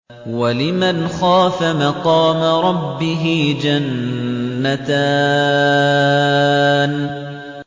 وَلِمَنْ خَافَ مَقَامَ رَبِّهِ جَنَّتَانِ